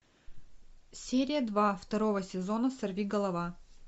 серия два второго сезона сорви голова